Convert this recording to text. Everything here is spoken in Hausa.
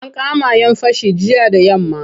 An kama'yan fashi jiya da yamma.